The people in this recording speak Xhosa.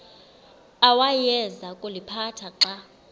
awayeza kuliphatha xa